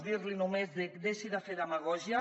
dir·l’hi només deixi de fer demagògia